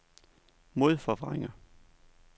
modforvrænger